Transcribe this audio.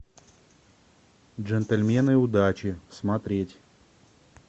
джентльмены удачи смотреть